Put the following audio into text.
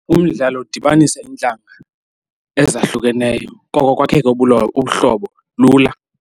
Umdlalo udibanisa iintlanga ezahlukeneyo koko kwakhe ke ubuhlobo lula.